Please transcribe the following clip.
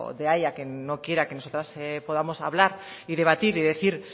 de ahí a que no quiera que nosotras podamos hablar y debatir y decir